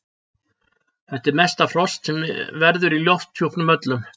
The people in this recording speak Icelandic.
Þetta er mesta frost sem verður í lofthjúpnum öllum.